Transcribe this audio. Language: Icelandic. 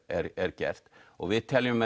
er er gert við teljum